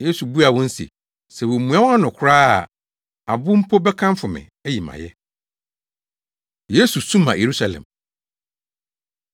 Yesu buaa wɔn se, “Sɛ womua wɔn ano koraa a, abo mpo bɛkamfo me, ayi me ayɛ.” Yesu Su Ma Yerusalem